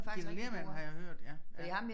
Ghita Lehrmann har jeg hørt ja ja